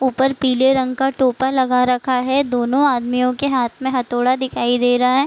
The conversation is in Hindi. ऊपर पीले रंग का टोपा लगा रखा है दोनो आदमियों के हाथ में हथौड़ा दिखाई दे रहा है।